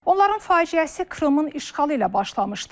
Onların faciəsi Krımın işğalı ilə başlamışdı.